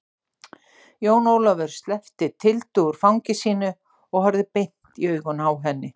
Jón Ólafur sleppti Tildu úr fangi sínu og horfði beint i augun á henni.